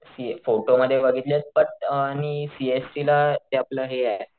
C photo मध्ये बघितलेत but आणि सी एस टी ला ते आपण हेये,